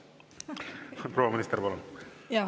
Proua minister, palun!